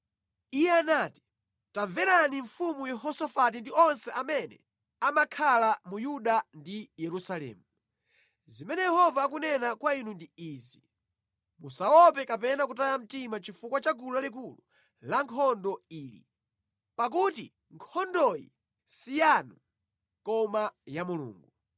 Iye anati, “Tamverani mfumu Yehosafati ndi onse amene amakhala mu Yuda ndi Yerusalemu! Zimene Yehova akunena kwa inu ndi izi: ‘Musaope kapena kutaya mtima chifukwa cha gulu lalikulu lankhondo ili. Pakuti nkhondoyi si yanu, koma ya Mulungu.